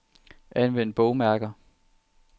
Anvend bogmærker.